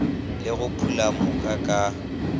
le go phula mooka ka